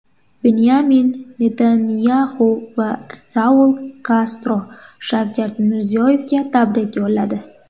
Binyamin Netanyaxu va Raul Kastro Shavkat Mirziyoyevga tabrik yo‘lladi.